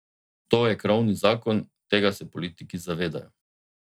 To je krovni zakon, tega se politiki zavedajo.